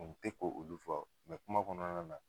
A kun te k tɛ k'olu fo mɛ kuma kɔnɔna na